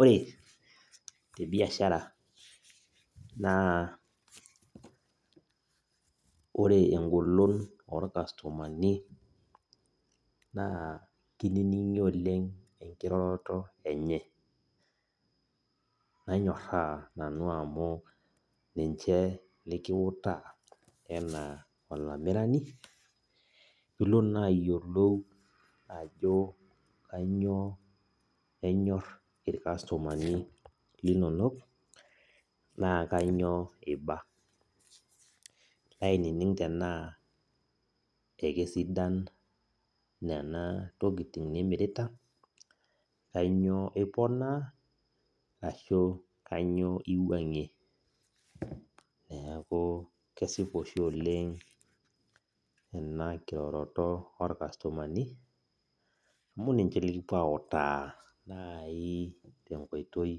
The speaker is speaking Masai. Ore tebiashara na ore engolon orkastomani na kininingi oleng na kanyoraa nanu amu ninche likikutaa anaa olamirani pilo na ayilou ajo kanyio enyor irkastomani linonok na kanyio iba nilo ainining ana kesidain ntokitin nimirita ashu kanyio impangie neaku kesipa oshi oleng enakiroroto orkastomani amu ninche likipuo autaa nai tenkoitoi